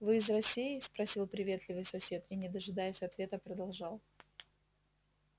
вы из россии спросил приветливый сосед и не дожидаясь ответа продолжал